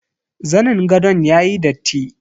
Zanin gadon yayi datti.